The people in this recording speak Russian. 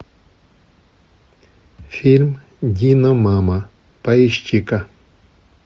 фильм диномама поищи ка